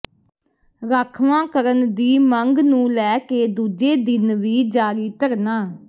ਰਾਖਵਾਂਕਰਨ ਦੀ ਮੰਗ ਨੂੰ ਲੈ ਕੇ ਦੂਜੇ ਦਿਨ ਵੀ ਜਾਰੀ ਧਰਨਾ